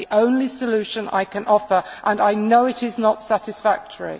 That is the only solution I can offer and I know that it is not satisfactory.